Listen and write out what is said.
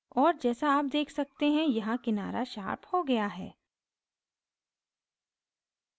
और जैसा आप देख सकते हैं यहाँ किनारा शार्प हो गया है